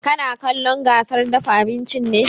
Kana kallon gasar dafa abinci ne?